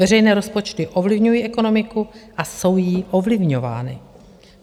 Veřejné rozpočty ovlivňují ekonomiku a jsou jí ovlivňovány.